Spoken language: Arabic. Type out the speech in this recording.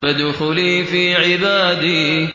فَادْخُلِي فِي عِبَادِي